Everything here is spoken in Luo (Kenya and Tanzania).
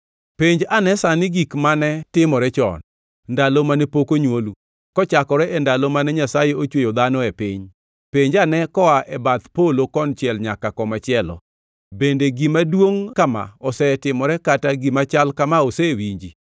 Penj ane sani gik mane timore chon, ndalo mane pok onywolu, kochakore e ndalo mane Nyasaye ochweyo dhano e piny; penj ane koa e bath polo konchiel nyaka komachielo. Bende gima duongʼ kama osetimore kata gima chal kama osewinji?